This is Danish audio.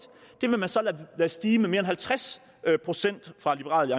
det vil man lade stige med mere end halvtreds procent fra liberal